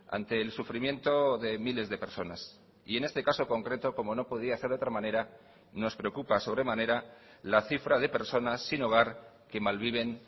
ante el sufrimiento de miles de personas y en este caso concreto como no podía ser de otra manera nos preocupa sobremanera la cifra de personas sin hogar que malviven